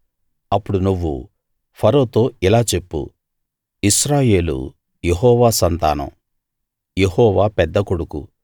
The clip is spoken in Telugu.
అప్పుడు నువ్వు ఫరోతో ఇలా చెప్పు ఇశ్రాయేలు యెహోవా సంతానం యెహోవాపెద్ద కొడుకు